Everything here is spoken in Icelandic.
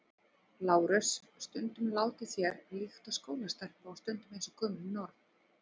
LÁRUS: Stundum látið þér líkt og skólastelpa og stundum eins og gömul norn.